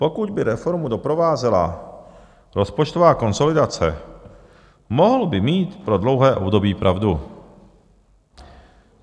Pokud by reformu doprovázela rozpočtová konsolidace, mohl by mít pro dlouhé období pravdu.